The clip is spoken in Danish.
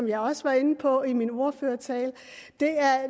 jeg også var inde på i min ordførertale er